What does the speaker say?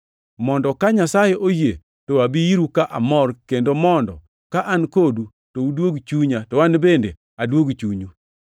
mondo ka Nyasaye oyie to abi iru ka amor kendo mondo ka an kodu to uduog chunya, to an bende aduog chunyu.